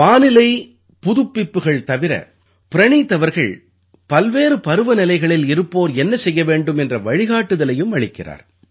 வானிலை புதுப்பிப்புகள் தவிர பிரணீத் அவர்கள் பல்வேறு பருவநிலைகளில் இருப்போர் என்ன செய்ய வேண்டும் என்ற வழிகாட்டுதலையும் அளிக்கிறார்